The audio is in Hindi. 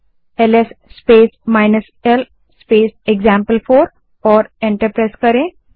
LS space l space example command type करें और एंटर दबायें